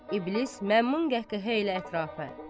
İblis məmnun qəhqəhə ilə ətrafa.